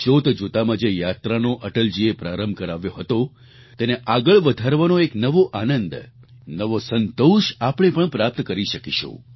જોત જોતામાં જે યાત્રાનો અટલજીએ પ્રારંભ કરાવ્યો હતો તેને આગળ વધારવાનો એક નવો આનંદ નવો સંતોષ આપણે પણ પ્રાપ્ત કરી શકીશું